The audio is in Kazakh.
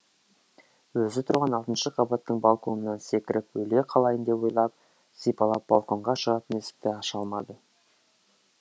өзі тұрған алтыншы қабаттың балконынан секіріп өле қалайын деп ойлап сипалап балконға шығатын есікті аша алмады